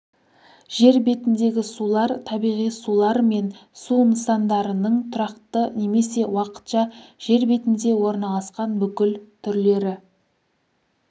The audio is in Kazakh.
жер бетіндегі сулар табиғи сулар мен су нысандарының тұрақты немесе уақытша жер бетінде орналасқан бүкіл түрлері